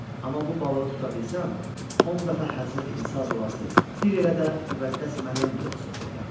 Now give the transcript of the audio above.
Amma bu balığı tuta bilsəm, 10 dəfə Həzrəti İsa duası, bir elə də müqəddəs Məryəm duası oxuyaram.